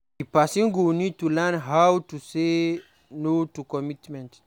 Di person go need to learn how to say no to extra committment